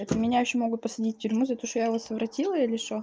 это меня ещё могут посадить в тюрьму за то что я его совратила или что